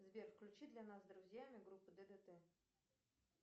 сбер включи для нас с друзьями группу ддт